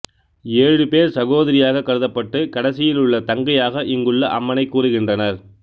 ஏழு பேர் சகோதரியாகக் கருதப்பட்டு கடைசியில் உள்ள தங்கையாக இங்குள்ள அம்மனைக் கூறுகின்றனர்